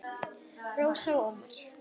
Rósa og Ómar.